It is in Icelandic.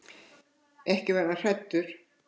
Ekki var hann hræddur.